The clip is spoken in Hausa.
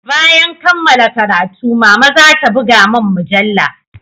Bayan kammala karatu mama zata buga mun mujalla